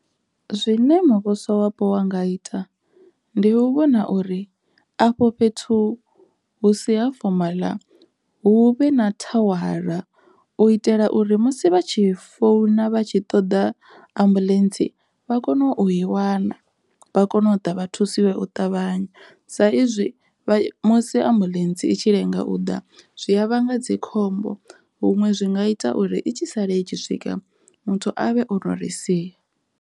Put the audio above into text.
Zwine muvhusowapo wa nga ita ndi u vhona uri afho fhethu hu si ha fomaḽa hu vhe na thawara u itela uri musi vha tshi founa vha tshi ṱoḓa ambuḽentsi vha kone u i wana vha kone u ḓa vha thusiwe u ṱavhanya, sa izwi musi ambuḽentse itshi lenga u ḓa zwi a vhanga dzikhombo huṅwe zwi nga ita uri i tshi sala i tshi swika muthu a vhe ono ri sia.